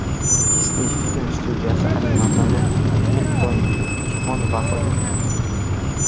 Disney film studiyasi animatori Milton Kvon vafot etdi.